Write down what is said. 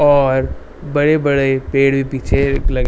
और बड़े बड़े पेड़ भी पीछे लगे --